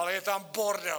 Ale je tam bordel!